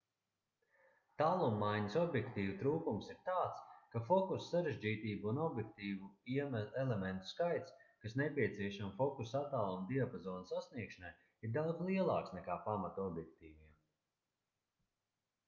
tālummaiņas objektīvu trūkums ir tāds ka fokusa sarežģītība un objektīvu elementu skaits kas nepieciešami fokusa attāluma diapazona sasniegšanai ir daudz lielāks nekā pamata objektīviem